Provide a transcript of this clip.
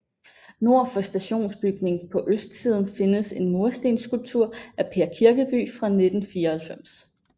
Nord for stationsbygning på østsiden findes en murstensskulptur af Per Kirkeby fra 1994